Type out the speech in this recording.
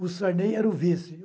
O Sarney era o vice.